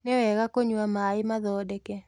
Niwega kũnyua maĩ mathondeke